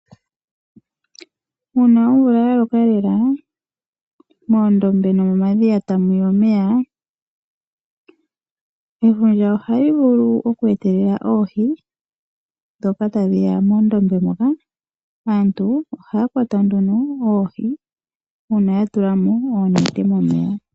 Uuna omvula ya loka lela, moondobe nomomadhiya etamu ya omeya, efundja ohali vulu okweetelela oohi, ndhoka hadhi yi moondombe mono naantu taye dhi kwata mo nduno momeya noonete.